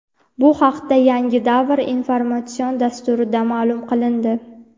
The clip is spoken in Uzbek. Bu haqda "Yangi davr" informatsion dasturida ma’lum qilindi.